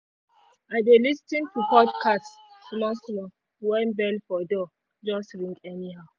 i dey lis ten to podcast small small when bell for door just ring anyhow